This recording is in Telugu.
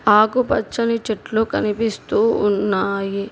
ఆకు పచ్చని చెట్లు కనిపిస్తూ ఉన్నాయి.